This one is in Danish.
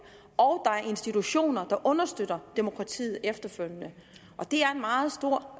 og at er institutioner der understøtter demokratiet efterfølgende det er en meget stor